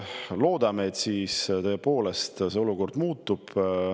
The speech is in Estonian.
Loodame, et see olukord tõepoolest muutub.